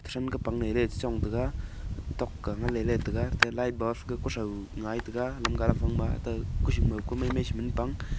tren kapang lele trachang taga tok ang lele ngan taga te light bulb ga kucho ngai taiga.